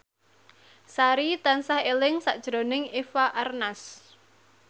Sari tansah eling sakjroning Eva Arnaz